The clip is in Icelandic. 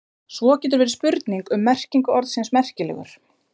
Svo getur verið spurning um merkingu orðsins merkilegur.